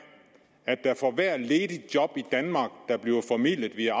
at der for hvert ledig job i danmark der bliver formidlet via